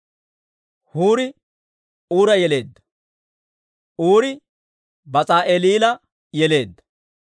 Huuri Uura yeleedda; Uuri Bas'aali'eela yeleedda.